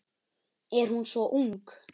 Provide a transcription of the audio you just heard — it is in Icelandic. Er hún svo ung?